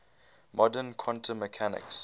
modern quantum mechanics